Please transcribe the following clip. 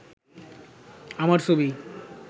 আমার ছবি